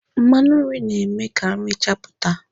Mmanụ nri na-eme ka nri chapụta.